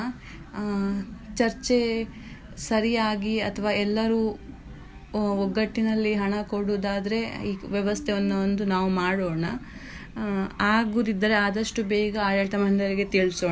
ಆ ಚರ್ಚೆ ಸರಿಯಾಗಿ ಅಥವಾ ಎಲ್ಲರೂ ಒಗ್ಗಟ್ಟಿನಲ್ಲಿ ಹಣ ಕೊಡುದಾದ್ರೆ ಈ ವ್ಯವಸ್ಥೆವನ್ನ ಒಂದು ನಾವು ಮಾಡೋಣ ಆಗೂದಿದ್ರೆ ಆದಷ್ಟು ಬೇಗ ಆಡಳಿತ ಮಂಡಳಿಗೆ ತಿಳ್ಸೋಣ.